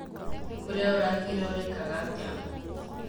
Kũrĩa ũrathire ũraekaga atĩa?